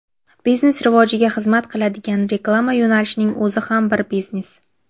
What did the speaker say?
Biznes rivojiga xizmat qiladigan reklama yo‘nalishining o‘zi ham bir biznes.